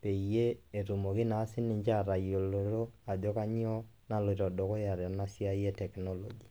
peyie etumoki naa sininje aatayiolo ajo kanyoo naloito dukuya tena siai e teknloji.